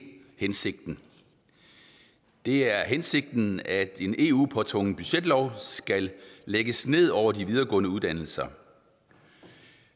hensigten det er hensigten at en eu påtvunget budgetlov skal lægges ned over de videregående uddannelser